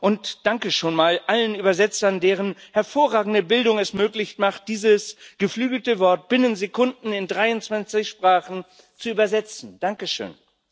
und danke schon mal allen Dolmetschern, deren hervorragende Bildung es möglich macht, dieses geflügelte Wort binnen Sekunden in dreiundzwanzig Sprachen zu dolmetschen danke schön!